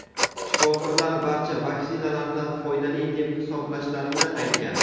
shifokorlar barcha vaksinalarni foydali deb hisoblashlarini aytgan.